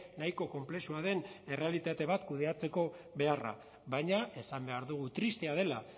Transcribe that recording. nahiko konplexua den errealitate bat kudeatzeko beharra baina esan behar dugu tristea dela